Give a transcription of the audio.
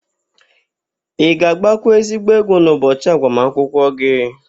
Ị ga-agbakwa ezigbo egwu n'ụbọchị agbamụnkwụ gị?